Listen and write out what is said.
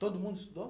Todo mundo estudou?